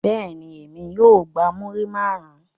Bẹ́ẹ̀ni, emi o gba muri marun